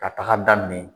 Ka taga daminɛ